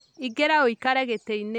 Ingĩra ũikare gĩtĩinĩ